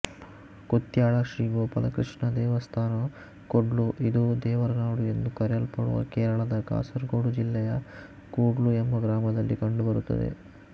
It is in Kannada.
ಕುತ್ಯಾಳ ಶ್ರೀಗೋಪಾಲಕೃಷ್ಣ ದೇವಸ್ಥಾನ ಕೂಡ್ಲು ಇದು ದೇವರನಾಡು ಎಂದು ಕರೆಯಲ್ಪಡುವ ಕೇರಳದ ಕಾಸರಗೋಡು ಜಿಲ್ಲೆಯ ಕೂಡ್ಲು ಎಂಬ ಗ್ರಾಮದಲ್ಲಿ ಕಂಡುಬರುತ್ತದೆ